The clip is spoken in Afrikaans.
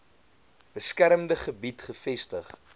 beskermde gebied gevestig